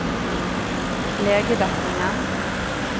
legedekningen